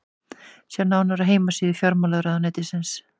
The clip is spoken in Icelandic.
sjá nánar á heimasíðu fjármálaráðuneytisins